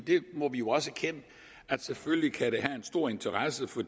vi må jo også erkende at selvfølgelig kan det have en stor interesse for